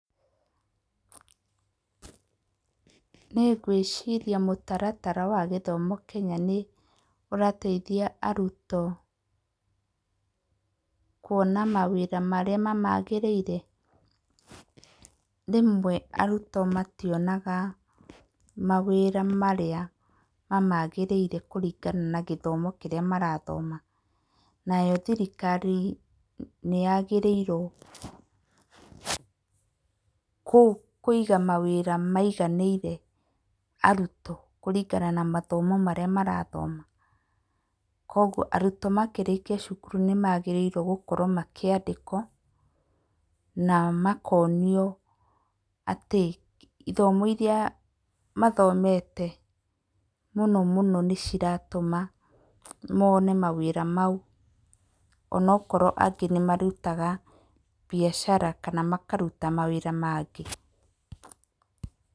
Nĩ ngwĩciria mũtaratara wa gĩthomo Kenya nĩ ũrateithia arutwo kuona mawĩra marĩa mamagĩrĩire. Rĩmwe arutwo mationaga mawĩra marĩa mamagĩrĩire kũringana na gĩthomo kĩrĩa marathoma. Nayo thirikari nĩyagĩrĩirwo kũ, kũiga mawĩra maiganĩire arutwo kũringana na mathomo marĩa marathoma. Kũoguo arutwo makĩrĩkia cukuru nĩ magĩrĩirwo gũkorwo makĩandĩkwo na makonĩo atĩ ĩthomo irĩa mathomete mũno mũno nĩ cĩratũma mone mawĩra mau, o na okorwo angĩ nĩ marũtaga mbiacara kana makaruta mawĩra mangĩ.